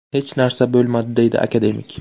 Hech narsa bo‘lmadi”, deydi akademik.